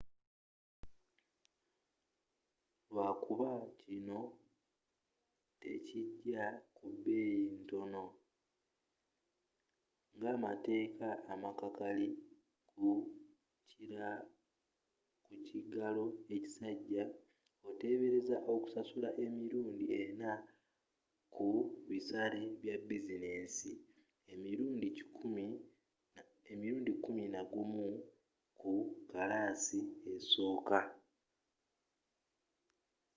lwakuba kino tekijja ku bbeyi ntono ngamateeka amakakali ku kigalo ekisajja otebereza okusasula emirundi ena ku bisale bya bizinensi nemirundi kkumi nagumu mu kkalaasi esooka